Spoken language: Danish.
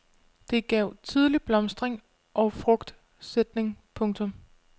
Det gav tidlig blomstring og frugtsætning. punktum